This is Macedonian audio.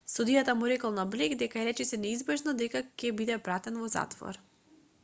судијата му рекол на блејк дека е речиси неизбежно дека ќе биде пратен во затвор